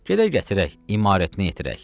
Gedək gətirək, imarətini yetirək.